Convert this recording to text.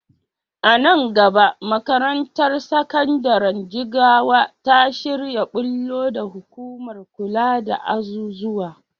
A nan gaba makarantar sakandiren Jigawa ta shirya ɓullo da hukumar kula da azuzuwa.